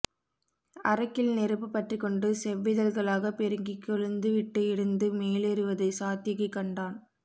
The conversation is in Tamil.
அரக்கில் நெருப்பு பற்றிக்கொண்டு செவ்விதழ்களாகப் பெருகி கொழுந்துவிட்டு எரிந்து மேலேறுவதை சாத்யகி கண்டான்